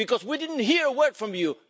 Because we didn't hear a word from you.